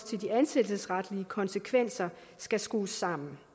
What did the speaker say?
til de ansættelsesretlige konsekvenser skal skrues sammen